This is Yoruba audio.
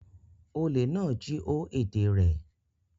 Olè náà jí ó èdè rẹ̀.